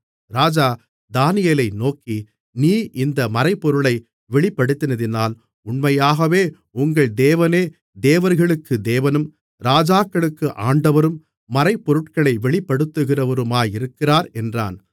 ராஜா தானியேலை நோக்கி நீ இந்த மறைபொருளை வெளிப்படுத்தினதினால் உண்மையாகவே உங்கள் தேவனே தேவர்களுக்கு தேவனும் ராஜாக்களுக்கு ஆண்டவரும் மறைபொருட்களை வெளிப்படுத்துகிறவருமாயிருக்கிறார் என்றான்